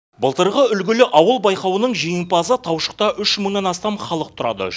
былтырғы үлгілі ауыл байқауының жеңімпазы таушықта үш мыңнан астам халық тұрады